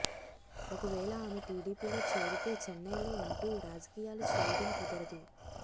ఒకవేళ ఆమె టిడిపిలో చేరితే చెన్నయ్లో ఉంటూ రాజకీయాలు చేయడం కుదరదు